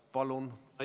Palun!